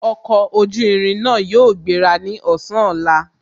Ọkọ̀ ojú irin náà yóò gbéra ní ọ̀sán ọ̀la